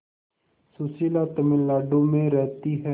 सुशीला तमिलनाडु में रहती है